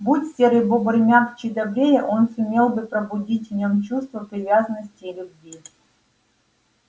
будь серый бобр мягче и добрее он сумел бы пробудить в нём чувство привязанности и любви